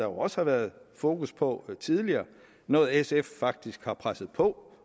også været fokus på dem tidligere noget sf faktisk også har presset på